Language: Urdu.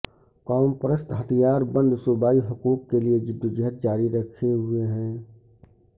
قوم پرست ہتھیار بند صوبائی حقوق کے لیے جدوجہد جاری رکھے ہوئے ہیں